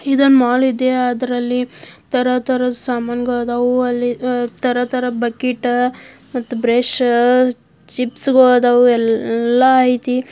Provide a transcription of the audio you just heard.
ಇದೊಂದ್ ಮಾಲ್ ಇದೆ ಅದ್ರಲ್ಲಿ ತರತರದ ಸಮಾನ್ ಗಳದಾವು ಅಲ್ಲಿ ತರ ತರ ಬಕಿಟ್ ಮತ ಬ್ರಷ್ ಚಿಪ್ಸ್ ಗಳಾದಾವು ಎಲ್ಲ ಐತಿ.